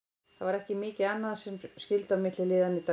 Það var ekki mikið annað sem skyldi á milli liðanna í dag.